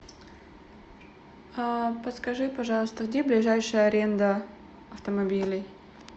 подскажи пожалуйста где ближайшая аренда автомобилей